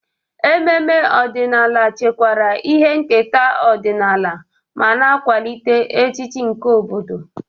Ememe ọdịnala chekwara ihe nketa ọdịnala ma na-akwalite echiche nke obodo.